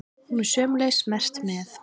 Hún er sömuleiðis merkt með?